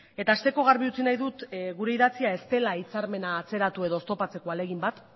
eta hasteko garbi utzi nahi dut gure idatzia ez dela hitzarmena atzeratu edo oztopatzeko ahalegin bat